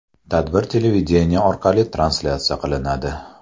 Tadbir televideniye orqali translyatsiya qilinadi.